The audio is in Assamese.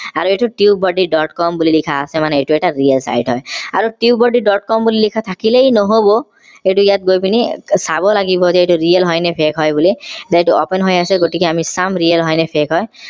আৰু এইটো tubebuddy. com বুলি লিখা আছে মানে এইটো এটা real site হয় আৰু tubebuddy. com বুলি লিখা থাকিলেই নহব এইটো ইয়াত গৈ পিনি চাব লাগিব যে এইটো real হয়নে fake হয় বুলি যে এইটো open হৈ আছে গতিকে আমি চাম real হয়নে fake হয়